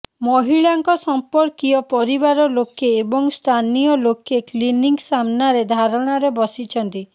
ମହିଳାଙ୍କ ସଂପର୍କୀୟ ପରିବାର ଲୋକେ ଏବଂ ସ୍ଥାନୀୟ ଲୋକ କ୍ଲିନିକ ସାମ୍ନାରେ ଧାରଣାରେ ବସିଛନ୍ତି